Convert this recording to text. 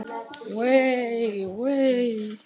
Vei, vei.